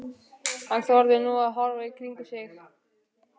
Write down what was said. Hann þorði nú að horfa í kringum sig.